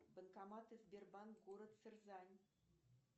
банкоматы сбербанк город сызрань